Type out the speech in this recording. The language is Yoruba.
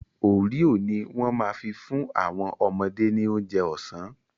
Oreo ni wọ́n ma fi fún àwọn ọmọdé ní oúnjẹ ọ̀sán